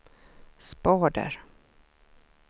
spader